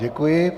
Děkuji.